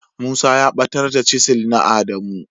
Musa ya batar da "chisel " na adamu.